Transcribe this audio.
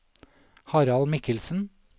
Harald Mikkelsen